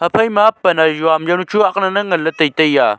haphai ma pan am zua am yanu chu aklane ngan ley tai tiya.